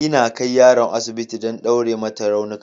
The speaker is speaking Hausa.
Ina kai yaron asibiti don ɗaure mata raunuka